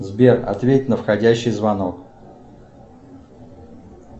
сбер ответь на входящий звонок